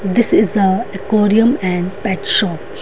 this is a aquarium and pet shop --